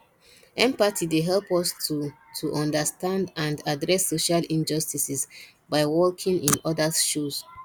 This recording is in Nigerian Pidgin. empathy dey help us to to understand and address social injustices by walking in odas shoes